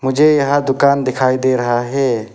मुझे यहां दुकान दिखाई दे रहा है।